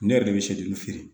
Ne yɛrɛ de bɛ se juru feere